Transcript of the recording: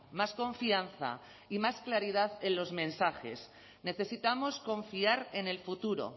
más confianza y más claridad en los mensajes necesitamos confiar en el futuro